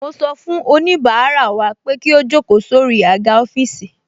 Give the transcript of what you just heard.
Mo sọ fún oníbàárà wa pé kí ó jókòó sórí àga ọ́fíìsì